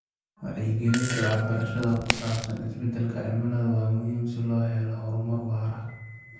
Wacyigelinta waxbarashada ku saabsan isbedelka cimilada waa muhiim si loo helo horumar waara.